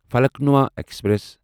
Falaknuma express